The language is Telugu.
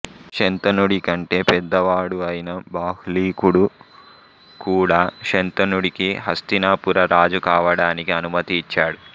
శంతనుడి కంటే పెద్దవాడు అయిన బాహ్లికుడు కూడా శంతనుడికి హస్తినాపుర రాజు కావడానికి అనుమతి ఇచ్చాడు